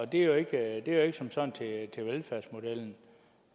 det er jo ikke som sådan til velfærdsmodellen